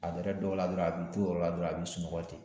A yɛrɛ dɔw la dɔrɔnw, a b'i to o yɔrɔ la dɔrɔn,a b'i sunɔgɔ ten.